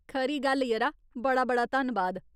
खरी गल्ल, यरा ! बड़ा बड़ा धन्नबाद !